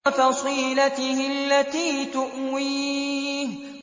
وَفَصِيلَتِهِ الَّتِي تُؤْوِيهِ